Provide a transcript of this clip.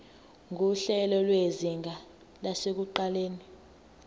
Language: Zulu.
nguhlelo lwezinga lasekuqaleni